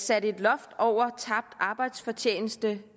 satte et loft over tabt arbejdsfortjeneste